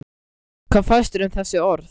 Hvað finnst þér um þessi orð?